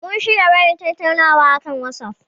Mun shirya yin wayar tattaunawa a akan watsaf.